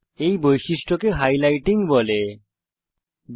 এই বৈশিষ্ট্যকে হাইলাইটিং বলা হয়